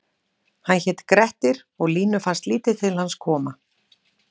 Hann hét Grettir og Línu fannst lítið til hans koma